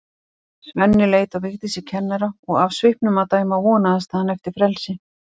Svenni leit á Vigdísi kennara og af svipnum að dæma vonaðist hann eftir frelsi.